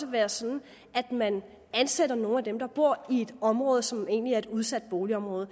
være sådan at man ansætter nogle af dem der bor i et område som egentlig er et udsat boligområde